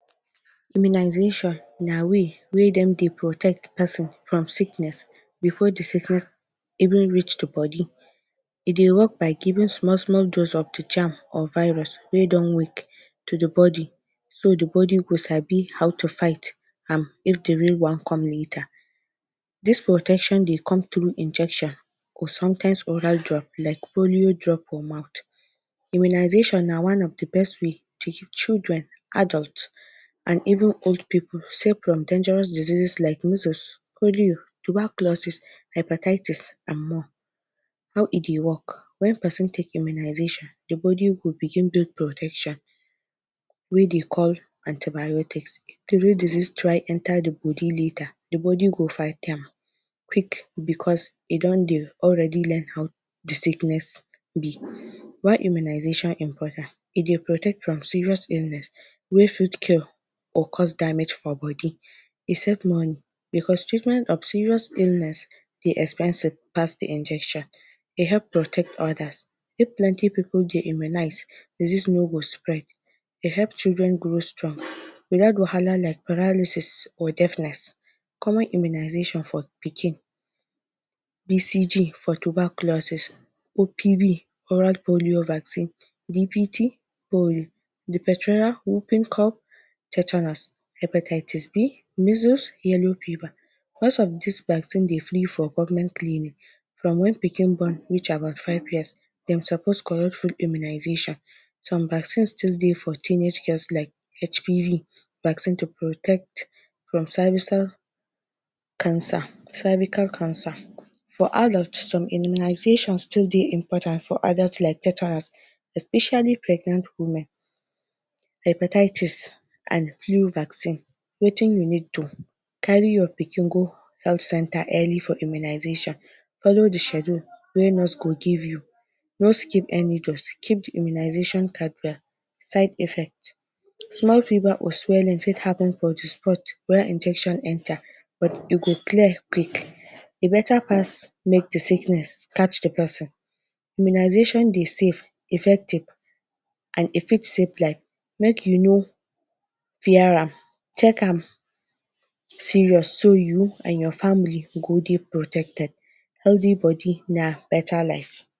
Immunization na way wey dem dey protect person from sickness before the sickness even reach the body. E dey work by giving small small dose of the germ or virus wey don wake to the body, so the body go sabi how to fight am if the real one come later. This protection dey come through injection or sometimes oral drop like polio drop for mouth. Immunization na one of the best way to keep children, adult and even old people safe from dangerous disease like measles, polio, tuberculosis, hepatitis and more. How e dey work: When person take immunization, the body go begin do protection wey dey call antibiotics. diseases try enter the body later, the body go fight am quick because e don dey already learn how the sickness be. Why immunization important: E dey protect from serious illness wey fit kill or cause damage for body. E save money, because treatment of serious illness dey expensive pass the injection. E help protect others. If plenty pipu dey immunize, disease no go spread. E help children grow strong. wahala like paralysis or deafness. Common immunization for pikin: BCG for tuberculosis, OPV oral polio vaccine, DPT, polio, diphtheria, whooping cough, tetanus, hepatitis B, measles, yellow fever. Most of these vaccine dey free for government clinic. From when pikin born reach about five years, dem suppose collect free immunization. Some vaccine still dey for teenage girls like HPV vaccine to protect from cancer cervical cancer. For adult, some immunization still dey important for adult like tetanus, especially pregnant women, hepatitis and flu vaccine. Wetin you need to carry your pikin go health centre early for immunization: Follow the schedule wey nurse go give you, no skip any dose, keep the immunization card well. Side effect: Small fever or swelling fit happen for the spot where injection enter, but e go clear quick. E better pass make the sickness catch the person. Immunization dey safe, effective and e fit save life. Make you no fear am. Take am serious so you and your family go dey protected. Healthy body na better life.